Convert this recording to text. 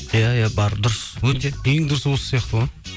иә иә бар дұрыс өте ең дұрысы осы сияқты ғой